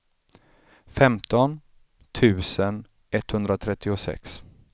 femton tusen etthundratrettiosex